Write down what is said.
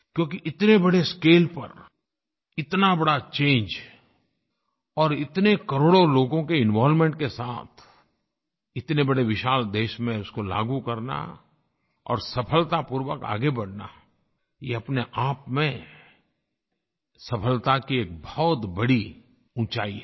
क्योंकि इतने बड़े स्केल पर इतना बड़ा चंगे और इतने करोड़ों लोगों के इन्वॉल्वमेंट के साथ इतने बड़े विशाल देश में उसको लागू करना और सफलतापूर्वक आगे बढ़ना ये अपनेआप में सफलता की एक बहुत बड़ी ऊँचाई है